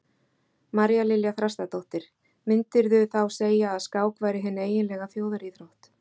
María Lilja Þrastardóttir: Myndirðu þá segja að skák væri hin eiginlega þjóðaríþrótt?